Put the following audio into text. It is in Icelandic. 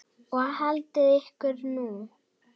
Og haldið ykkur nú.